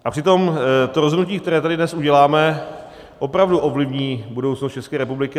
A přitom to rozhodnutí, které tady dnes uděláme, opravdu ovlivní budoucnost České republiky.